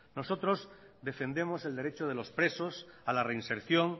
nosotros defendemos el derecho de los presos a la reinserción